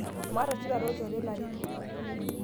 maata oshi taata olnjore laret